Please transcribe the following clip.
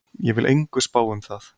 Ég vil engu spá um það.